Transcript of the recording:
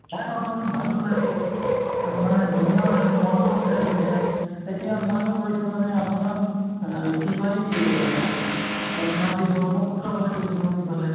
আপোনাৰ ভালো লাগে হয় মানে ধুনীয়াও লাগে মনতো fresh হৈ যায় এতিয়া ময়ো গৈছো মানে আপোনাৰ অ কি কয় অহ্ এই নদী ব্ৰহ্মপুত্ৰৰ ফালে গৈছো নদীফালে